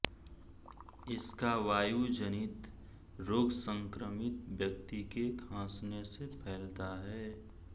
इसका वायुजनित रोग संक्रमित व्यक्ति के खांसने से फैलता है